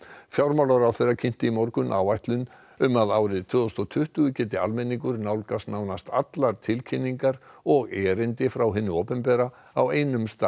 fjármálaráðherra kynnti í morgun áætlun um að árið tvö þúsund og tuttugu geti almenningur nálgast nánast allar tilkynningar og erindi frá hinu opinbera á einum stað